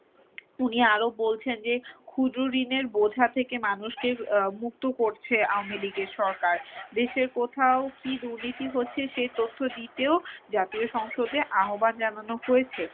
উনি আরো বলছেন যে খুচরো ঋণের বোঝা থেকে মানুষকে মুক্ত করছে আওয়ামী লীগের সরকার। দেশের কোথাও কী দুর্নীতি হচ্ছে সে তথ্য দিতেও জাতীয় সংসদে আহ্বান জানানো হয়েছে।